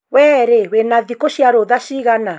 Wee rĩ wina thiku cia rutha cigana?